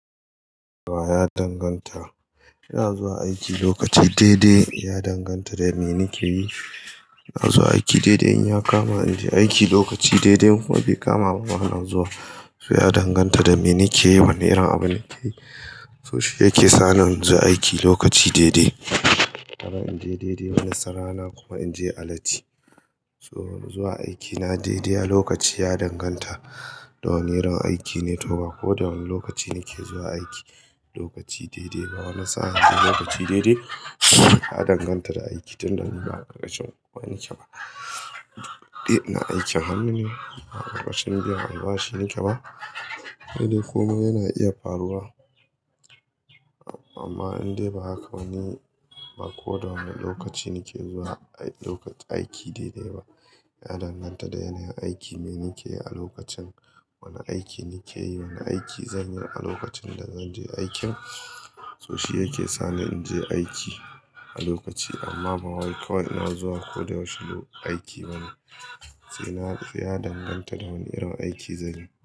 Ya danganta. Ina zuwa aiki lokaci daidai, ya danganta da me nike yi. Ina zuwa aiki daidai in ya kama ni aiki lokaci daidai kuma bai kama mu ana zuwa. So ya danganta da me nike yi, wane irin abu nike yi. So shi yake sa ni in je aiki lokaci daidai. Wani sa'a in je daidai, wani sa'a kuma in je alati. So zuwa aikina daidai a lokaci ya danganta da wane irin aiki ne to ba ko da wane lokaci nike zuwa aiki. Lokaci daidai ba, wani sa'a lokaci daidai ya danganta da aiki tunda ni ba aiki ba. Eh, ina aikin hannu ne, ba aiki ba shine ke ba. Sai dai komai yana iya faruwa. Amma in dai ba haka ba ko da wane lokaci nike zuwa lokaci aiki daidai ba, ya danganta da yanayin aiki me nike yi a lokacin. Wane aiki nike yi, wane aiki zan yi a lokacin da zanje aikin, so shi yake sa ni in je aiki a lokaci. Amma ba wai kawai in na zuwa ko da yaushe aiki ba ne. Sai na, ya danganta da wane irin aiki zanyi.